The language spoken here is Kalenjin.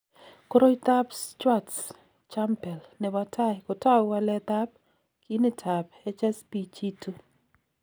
Koroitoab Schwartz Jampel nebo tai kotou waletab ginitab HSPG2.